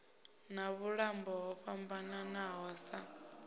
na vhuṱambo ho fhambananaho sa